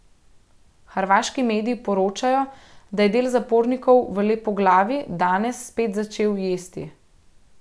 Hrvaški mediji poročajo, da je del zapornikov v Lepoglavi danes spet začel jesti.